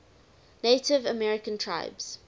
native american tribes